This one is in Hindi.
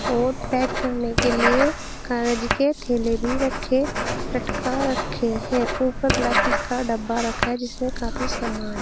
और पैक करने के लिए कागज के थेले भी रखे लटका रखे हैं ऊपर प्लास्टिक का डब्बा रखा है जिसमें काफी सामान--